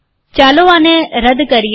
ચાલો આને રદ કરીએ